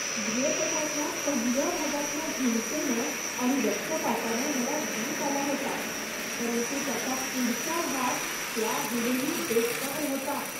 भयपटाच्या पहिल्या भागातल्या हिंसेनं आणि रक्तपातानं मला वीट आला होता, परंतु त्याचा पुढचा भाग त्याहूनही बेकार होता.